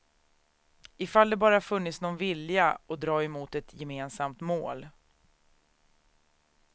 Ifall det bara funnits någon vilja att dra mot ett gemensamt mål.